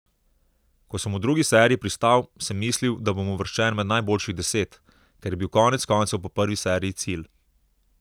Ko sem v drugi seriji pristal, sem mislil, da bom uvrščen med najboljših deset, kar je bil konec koncev po prvi seriji cilj.